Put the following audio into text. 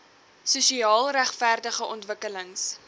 sosiaal regverdige ontwikkelings